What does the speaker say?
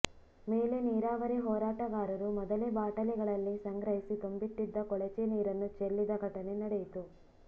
ಮೇಲೆ ನೀರಾವರಿ ಹೋರಾಟಗಾರರು ಮೊದಲೇ ಬಾಟಲಿಗಳಲ್ಲಿ ಸಂಗ್ರಹಿಸಿ ತುಂಬಿಟ್ಟಿದ್ದ ಕೊಳಚೆ ನೀರನ್ನು ಚೆಲ್ಲಿದ ಘಟನೆ ನಡೆಯಿತು